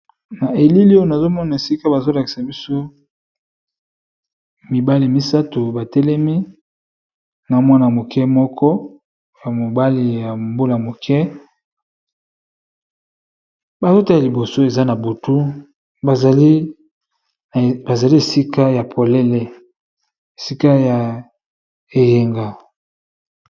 Na elili oyo nazomona esika bazolakisa biso mibale misato batelemi na mwana moke moko ya mobali ya mbula moke balota ya liboso eza na butu bazali esika ya polele esika ya eyenga.